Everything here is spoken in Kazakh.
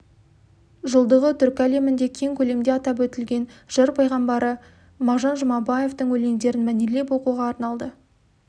жылдығы түркі әлемінде кең көлемде атап өтілген жыр пайғамбары мағжан жұмабаевтың өлеңдерін мәнерлеп оқуға арналды